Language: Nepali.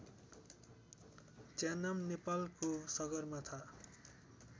च्यानाम नेपालको सगरमाथा